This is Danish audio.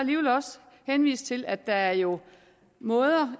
også henvise til at der jo er måder